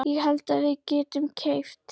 Ég held að við getum keypt.